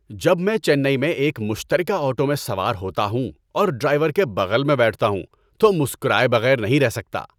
‏جب میں چنئی میں ایک مشترکہ آٹو میں سوار ہوتا ہوں اور ڈرائیور کے بغل میں بیٹھتا ہوں تو مسکرائے بغیر نہیں رہ سکتا۔